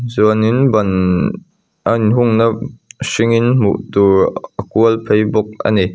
chuanin ban a inhungna hringin hmuh tur a kual phei bawk a ni.